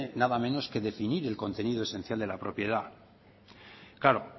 nada menos que definir el contenido esencial de la propiedad claro